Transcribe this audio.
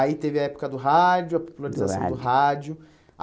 Aí teve a época do rádio, do rádio a popularização do rádio.